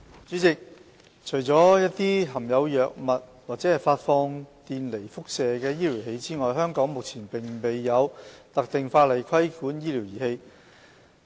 主席，除了一些含有藥品或發放電離輻射的醫療儀器外，香港目前並無特定法例規管醫療儀器。